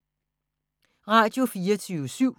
Radio24syv